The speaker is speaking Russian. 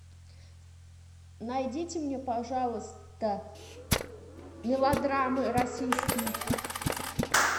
найдите мне пожалуйста мелодрамы российские